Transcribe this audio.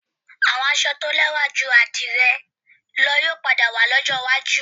Àwọn aṣọ tí ó lẹ́wà ju àdìrẹ lọ yóò padà wà lọ́jọ́ iwájú